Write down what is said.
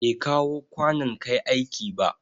Bai kawo kwanon Kai aiki ba.